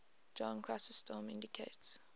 john chrysostom indicates